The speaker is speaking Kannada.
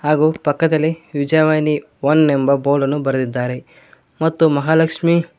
ಹಾಗು ಪಕ್ಕದಲ್ಲಿ ವಿಜಯವಾಣಿ ಒನ್ ಎಂಬ ಬೋರ್ಡನ್ನು ಬರೆದಿದ್ದಾರೆ ಮತ್ತು ಮಹಾಲಕ್ಷ್ಮಿ--